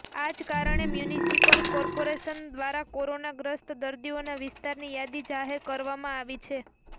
આ જ કારણે મ્યુનિસિપલ કોર્પોરેશન દ્વારા કોરોના ગ્રસ્ત દર્દીઓના વિસ્તારની યાદી જાહેર કરવામાં આવી છે